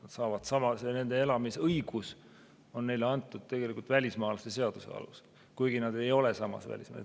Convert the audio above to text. Eestis elamise õigus on neile antud tegelikult välismaalaste seaduse alusel, kuigi nad ei ole välismaalased.